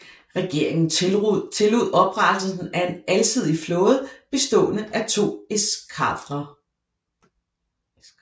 Regeringen tillod oprettelsen af en alsidig flåde bestående af to eskadrer